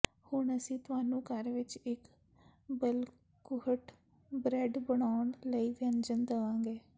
ਹੁਣ ਅਸੀਂ ਤੁਹਾਨੂੰ ਘਰ ਵਿਚ ਇਕ ਬੱਲਕੁਹਿਟ ਬ੍ਰੈੱਡ ਬਣਾਉਣ ਲਈ ਵਿਅੰਜਨ ਦਵਾਂਗੇ